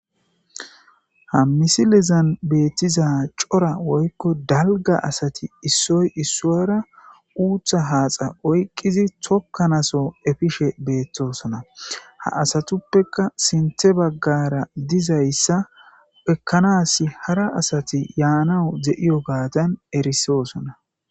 ha misilizan beettiza cora woykko dalga asati issoy issuyara uutha haaxa oyqqizi tokkanaso efishe beettosona ha asatuppeka sinthe baggara dizayssa ekkanas hara asati yaanawu ze7iyo gaatan erisosona